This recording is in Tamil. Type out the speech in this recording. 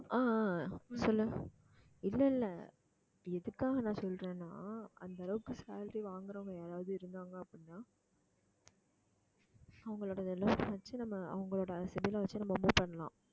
ஆஹ் ஆஹ் சொல்லு இல்ல இல்ல எதுக்காக நான் சொல்றேன்னா அந்த அளவுக்கு salary வாங்குறவங்க யாராவது இருந்தாங்க அப்படின்னா அவங்களோடது வச்சு நம்ம அவங்களோட வச்சு நம்ம move பண்ணலாம்